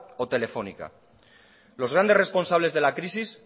o telefónica los grandes responsables de la crisis